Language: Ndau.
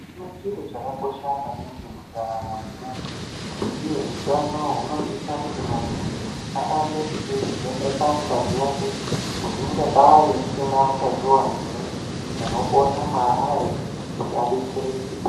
Utano chinhu chakakosha maningi mentaramo yemuntu ,uye hutano unosisa kuti muntu arambe echivhenekwa ngazi yake kuti ungadai isina utachiona here unopona maari kuti abetsereke.